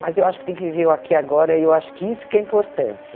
Mas eu acho que tem que viver o aqui e o agora, e eu acho que isso que é importante.